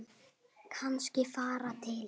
Kannski fara til